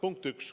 Punkt üks.